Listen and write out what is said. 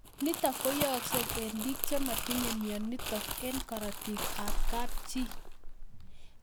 Nitok ko yaakse eng' pik che matinye mionitok eng'karatik ab kapchii